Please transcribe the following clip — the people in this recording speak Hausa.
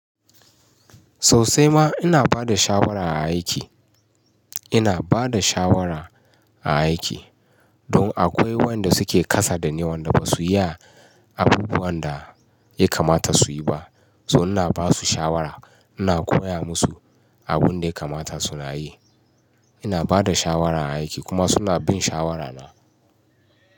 Sau sai ma ina bada shawara a aiki. Ina bada shawara a aiki. Don akwai wanda suke kasa da ni, wanda ba su iya abubuwan da ya kamata su yi ba. So ina basu shawara, ina koya musu abun da ya kamata su na yi. Ina bada shawara a aiki kuma suna bin shawarana.